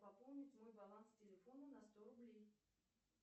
пополнить мой баланс телефона на сто рублей